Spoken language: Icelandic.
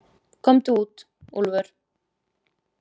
Komdu út, Úlfur.